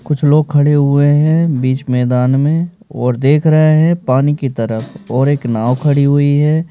कुछ लोग खड़े हुए हैं बीच मैदान में और देख रहे हैं पानी की तरफ और एक नाव खड़ी हुई है।